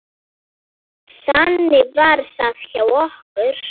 Þannig var það hjá okkur.